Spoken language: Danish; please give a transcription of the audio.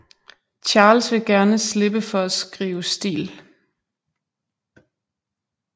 Charles vil gerne slippe for at skrive stil